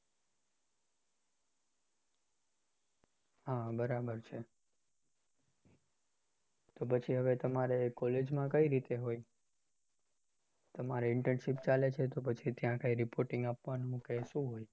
હા બરાબર છે તો પછી હવે તમારે college કઈ રીતે હોય તમારે internship ચાલે છે તો પછી ત્યાં કઈ reporting આપવાનું કે શું હોય?